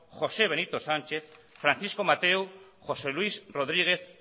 josé benito sánchez francisco mateu josé luis rodríguez